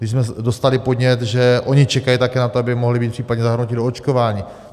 Když jsme dostali podnět, že oni také čekají na to, aby mohli být případně zahrnuti do očkování.